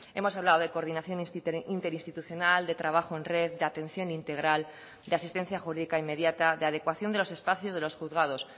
hemos hablado de coordinación interinstitucional de trabajo en red de atención integral de asistencia jurídica inmediata de adecuación de los espacios de los juzgados